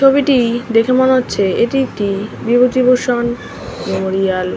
ছবিটি দেখে মনে হচ্ছে এটি একটি বিভূতিভূষণ মেমোরিয়াল --